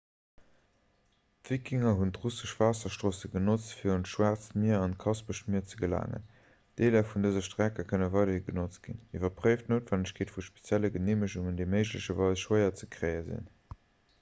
d'wikinger hunn d'russesch waasserstroosse genotzt fir un d'schwaarzt mier an d'kaspescht mier ze gelaangen deeler vun dëse strecke kënne weiderhi genotzt ginn iwwerpréift d'noutwennegkeet vu spezielle geneemegungen déi méiglecherweis schwéier ze kréie sinn